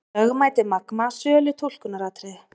Lögmæti Magma sölu túlkunaratriði